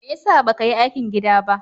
Me ya sa ba ka yi aikin gida ba?